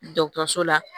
Dɔgɔtɔrɔso la